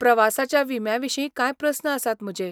प्रवासाच्या विम्याविशीं कांय प्रस्न आसात म्हजे.